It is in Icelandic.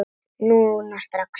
Núna strax?